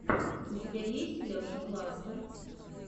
у тебя есть леша кластер